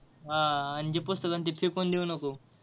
हा आणि जे पुस्तक आहे ना फेकून देऊ नको.